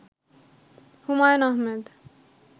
Humayun Ahmed